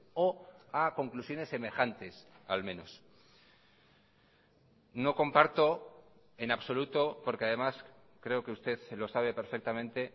o a conclusiones semejantes al menos no comparto en absoluto porque además creo que usted se lo sabe perfectamente